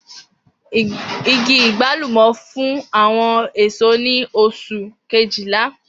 Igi agbalumo fun awọn eso ni oṣu Kejìlá.